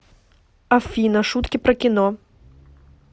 афина шутки про кино